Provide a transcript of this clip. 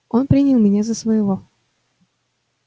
он принял меня за своего